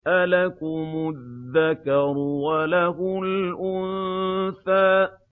أَلَكُمُ الذَّكَرُ وَلَهُ الْأُنثَىٰ